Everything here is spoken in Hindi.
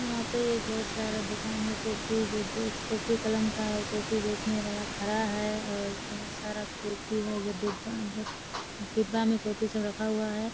यहाँ पे बहुत सारा दुकान है कॉपी वॉपीज़ कॉपी कलम का और कॉपी बेचने वाला खड़ा है और बहुत सारा कॉपी है जो डिब्बा मे डिब्बा मे कॉपी सब रखा हुआ है|